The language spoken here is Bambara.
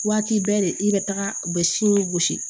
Waati bɛɛ de i bɛ taga u bɛ siini gosi